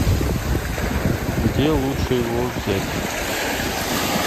где лучше его взять